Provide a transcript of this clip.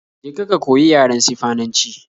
Je ka ka koyi yaren Sifananci